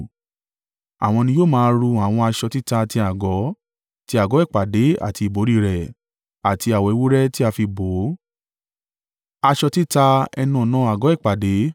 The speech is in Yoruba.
Àwọn ni yóò máa ru àwọn aṣọ títa ti àgọ́, ti àgọ́ ìpàdé àti ìbòrí rẹ̀, àti awọ ewúrẹ́ tí a fi bò ó, aṣọ títa ẹnu-ọ̀nà àgọ́ ìpàdé,